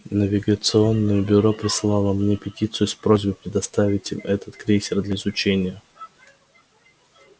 навигационное бюро прислало мне петицию с просьбой предоставить им этот крейсер для изучения